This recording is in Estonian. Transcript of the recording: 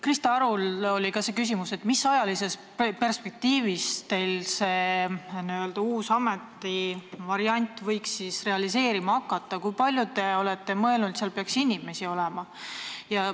Krista Arul oli ka see küsimus, millises ajalises perspektiivis teil see n-ö uue ameti variant võiks realiseeruda ja kui palju seal peaks inimesi olema.